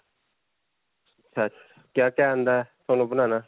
ਕਿਆ-ਕਿਆ ਆਉਂਦਾ ਹੈ ਤੁਹਾਨੂੰ ਬਣਾਉਣਾ?